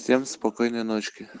всем спокойной ночки